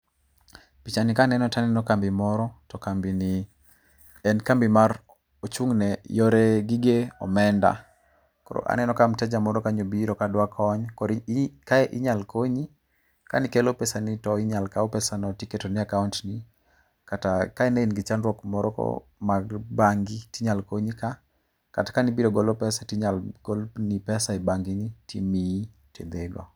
Pichani ka neno to aneno kambi moro to kambini, en kambi mar ochung' ne yore gige omenda. Koro aneno ka mteja moro kanyo obiro dwa kony, koro kae inyalo konyi. Kane ikelo pesani to inyalo kaw pesano tiketoni e akaont ni. Kata kane in gi chandruok moro mar bangi to inyalo konyi ka kata kane ibiro golo pesa to inyalo golno, timiyi tidhigo.